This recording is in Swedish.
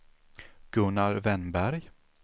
Gunnar Wennberg